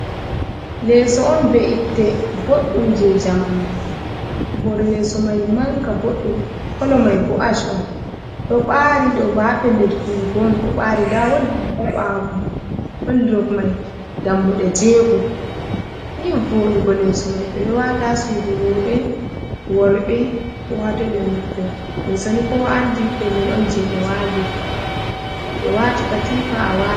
Leeso on be’itte boɗɗum je jamanu. Hore leso mai manga boɗɗum kolo mai bo ash on. Ɗo ɓari ɗo ba pellel fiyugon ɗo ɓari da wolɗurof ha bawomai. Wolɗurof mai Ɗammuɗe jego nii voɗugo leso mai. Be ɗo wata suɗu robe worɓe. Ko hatoi beɗo naftira. Leso ni ko wa’anɗi pellel on jeto ɓe wati katifa a wai.